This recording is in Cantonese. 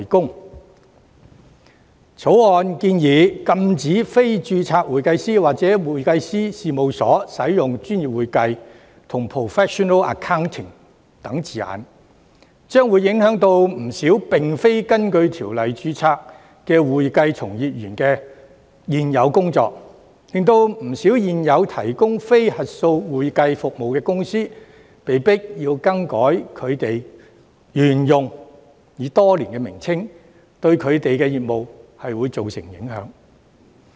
《條例草案》建議禁止非註冊會計師或會計師事務所使用"專業會計"及 "professional accounting" 等字眼，將會影響不少並非根據《條例》註冊的會計從業員的現有工作，令不少現有提供非核數會計服務的公司被迫更改已沿用多年的名稱，因而對他們的業務造成影響。